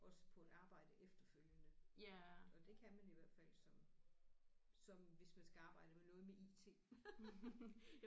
Også på en arbejde efterfølgende og det kan man i hvert fald som som hvis man skal arbejde med noget med IT